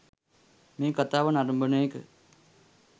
මේ කතාව නරඹන එක